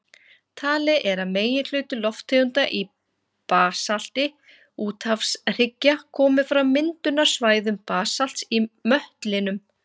Talið er að meginhluti lofttegunda í basalti úthafshryggja komi frá myndunarsvæðum basalts í möttlinum.